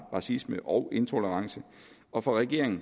racisme og intolerance og for regeringen